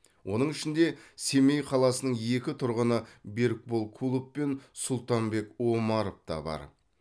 оның ішінде семей қаласының екі тұрғыны берікбол кулов пен сұлтанбек омаров та бар